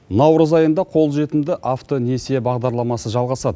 наурыз айында қолжетімді автонесие бағдарламасы жалғасады